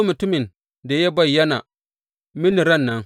Mutumin da ya bayyana mini ran nan!